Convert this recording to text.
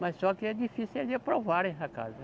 Mas só que é difícil eles aprovarem essa casa.